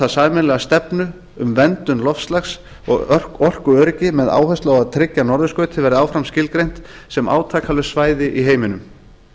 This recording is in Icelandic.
sameiginlega stefnu um verndun loftslags og orkuöryggi með áherslu á að tryggja að norðurskautið verði áfram skilgreint sem átakalaust svæði í heiminum